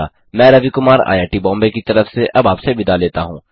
मैं रवि कुमार आईआईटी बॉम्बे की तरफ से अब आपसे विदा लेता हूँ